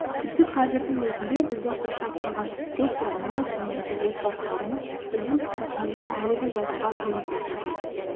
тіпті қазірдің өзінде бізді қоршап тұрған достарымыз немесе отбасыларымыз біздің скриптымызды әлі де жазуға көмектесіп жатыр